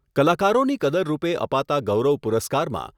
કલાકારોની કદર રૂપે અપાતા ગૌરવ પુરસ્કારમાં